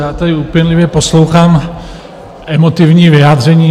Já tady úpěnlivě poslouchám emotivní vyjádření.